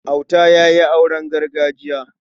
Auta ya yi auren gargajiya.